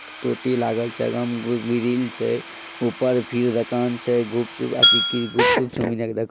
टोटी लागल छै अगा मे उ ग्रिल छै ऊपर फिर दोकान छै गुपचुप अथी की गुपचुप गुपचुप सब जायके --